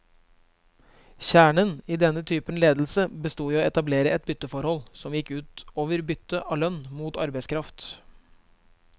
Kjernen i denne typen ledelse bestod i å etablere et bytteforhold, som gikk ut over byttet av lønn mot arbeidskraft.